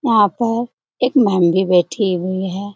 यहां पर एक मैम भी बैठी हुई है।